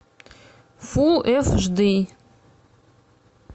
фулл эйч ди